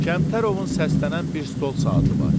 Kəmtərovun səslənən bir stol saatı var.